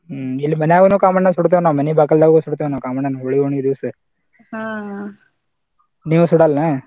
ಹ್ಮ್‌ ಇಲ್ಲಿ ಮನ್ಯಾಗನು ಕಾಮಣ್ಣಾ ಸುಡತೇವ ನಾವ್ ಮನಿ ಬಾಗಲ್ಲಾಗನು ಸುಡ್ತೇವ ನಾವ್ ಕಾಮಣ್ಣನ ಹೋಳಿ ಹುಣ್ಣಿವಿ ದಿವಸ ನೀವ್ ಸುಡಲ್ಲಾ?